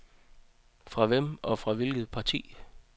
Fra hvem og fra hvilket parti?